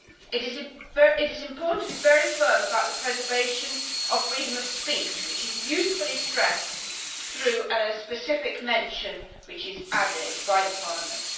It is important to be very firm about the preservation of freedom of speech, which is usefully stressed through a specific mention which is added by the Parliament.